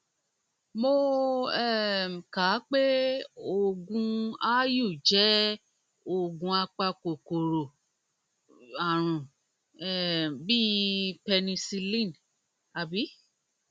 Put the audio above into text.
mo um kà á pé aáyù jẹ oògùn apakòkòrò jẹ oògùn apakòkòrò ààrùn um bíi penicillin um